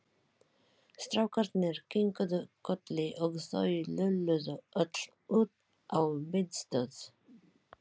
Strákarnir kinkuðu kolli og þau lölluðu öll út á biðstöð.